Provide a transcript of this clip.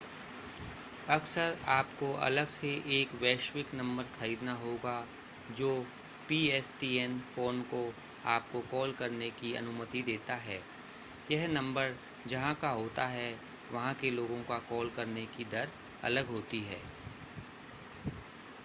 अक्सर आपको अलग से एक वैश्विक नंबर खरीदना होगा जो pstn फ़ोन को आपको कॉल करने की अनुमति देता है यह नंबर जहां का होता है वहां के लोगों का कॉल करने की दर अलग होती है